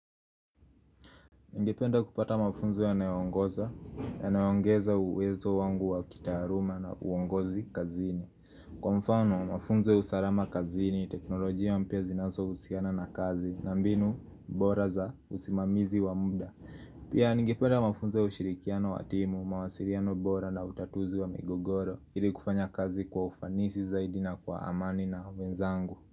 Ningependa kupata mafunzo yanayo ongoza yanayo ongeza uwezo wangu wa kitaaluma na uongozi kazini. Kwa mfano, mafunzo ya usalama kazini, teknolojia mpya zinazohusiana na kazi, na mbinu, bora za usimamizi wa muda. Pia ningependa mafunzo ya ushirikiano wa timu, mawasiliano bora na utatuzi wa migogoro, ili kufanya kazi kwa ufanisi zaidi na kwa amani na wenzangu.